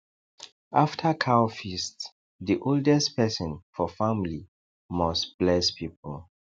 after cow feast the oldest person for family must bless people